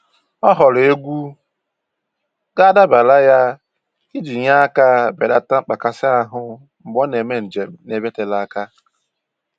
Ọ họọrọ egwu ga-adabara ya iji nye aka belata mkpakasị ahụ mgbe ọ na-eme njem n'ebe tere aka.